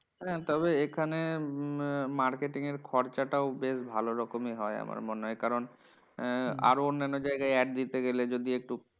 তবে এখানে উম marketing এর খরচাটাও বেশ ভালো রকমেই হয় আমার মনে হয়। কারণ আহ আরো অন্যান্য জায়গায় ad দিতে গেলে যদি একটু